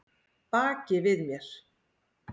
Baki við mér?